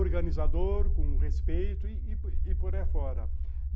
organizador, com respeito e por por aí a fora.